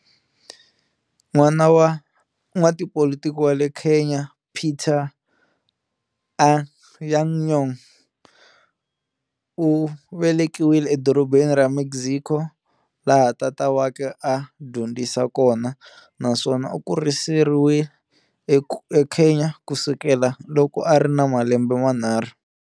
N'wana wa n'watipolitiki wa le Kenya Peter Anyang' Nyong'o, u velekiwe eDorobeni ra Mexico, laha tata wakwe a a dyondzisa kona, naswona u kuriseriwe eKenya ku sukela loko a ri ni malembe manharhu.